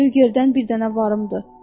Lügerdən bir dənə varımdır.